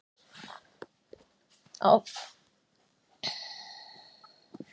Á því byggjast geislalækningar sem eru mikið notaðar í baráttunni gegn krabbameini nú á dögum.